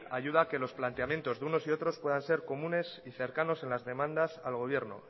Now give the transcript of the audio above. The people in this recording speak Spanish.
ayuda a que los planteamientos de unos y de otros puedan ser comunes y cercanos en las demandas al gobierno